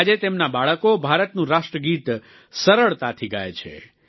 આજે તેમના બાળકો ભારતનું રાષ્ટ્રગીત સરળતાથી ગાય છે